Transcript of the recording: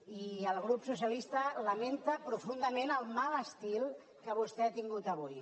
i el grup socialista lamenta profundament el mal estil que vostè ha tingut avui